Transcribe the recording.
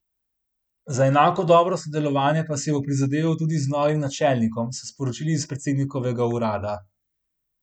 Za enako dobro sodelovanje pa si bo prizadeval tudi z novim načelnikom, so sporočili iz predsednikovega urada.